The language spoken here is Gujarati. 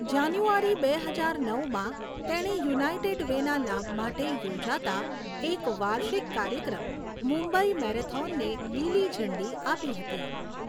જાન્યુઆરી બે હજાર નવમાં, તેણે યુનાઇટેડ વેના લાભ માટે યોજાતા એક વાર્ષિક કાર્યક્રમ, મુંબઈ મેરેથોનને લીલી ઝંડી આપી હતી.